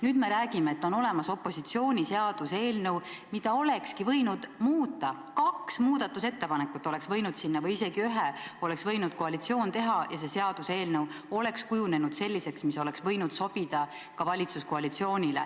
Nüüd me räägime, et on olemas opositsiooni seaduseelnõu, mida olekski võinud muuta, kaks muudatusettepanekut või isegi ühe oleks võinud koalitsioon teha ja see seaduseelnõu oleks kujunenud selliseks, mis oleks võinud sobida ka valitsuskoalitsioonile.